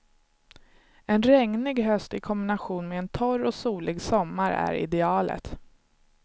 En regnig höst i kombination med en torr och solig sommar är idealet.